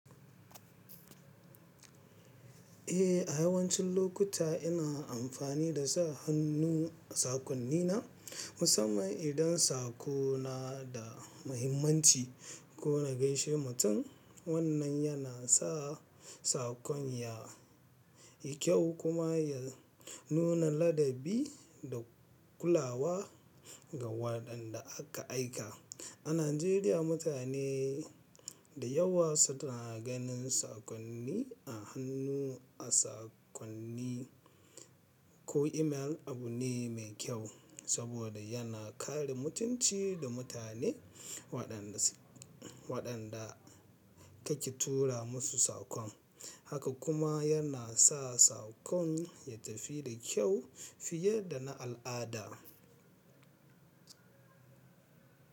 Eh, a yawancin lokuta ina amfani da sa hannu a sakonnina musamman idan sako na da mahimmanci ko na gaida mutum. Wannan yana sa sakon ya yi kyau kuma ya nuna ladabi da kulawa ga waɗanda aka aika. A Najeriya, mutane da yawa suna ganin sakonni a hannu a sakonni ko imel abu ne mai kyau saboda yana kare mutunci da mutane waɗanda kake tura musu sakon. Haka kuma yana sa sakon ya tafi da kyau fiye da na al'ada.